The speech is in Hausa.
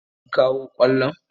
Kun kawo kwallon?